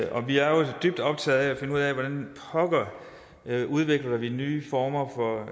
og vi er jo dybt optaget af at finde ud af hvordan pokker vi udvikler nye former for